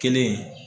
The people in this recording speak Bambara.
Kelen